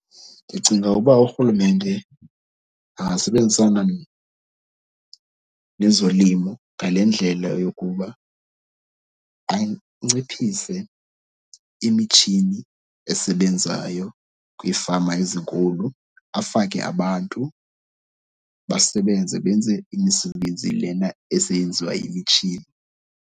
Ndicinga uba urhulumente angasebenzisana nezolimo ngale ndlela yokuba anciphise imitshini esebenzayo kwiifama ezinkulu, afake abantu basebenze. Benze imisebenzi lena eseyenziwa yimitshini.